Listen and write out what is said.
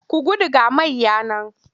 Ku gudu ga mayya nan!